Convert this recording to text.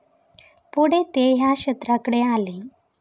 पुढे ते या क्षेत्राकडे आले.